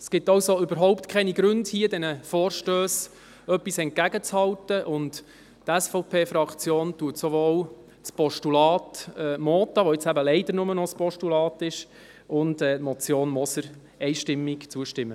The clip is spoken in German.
Es gibt also überhaupt keine Gründe, hier den Vorstössen etwas entgegenzuhalten, und die SVPFraktion wird sowohl dem Postulat Mentha – das leider nur noch ein Postulat ist – und der Motion Moser einstimmig zustimmen.